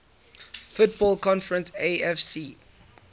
football conference afc